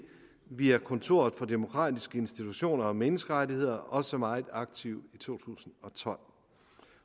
via kontor for demokratiske institutioner og menneskerettigheder også meget aktiv i to tusind og tolv